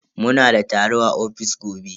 Muna da taro a ofis gobe.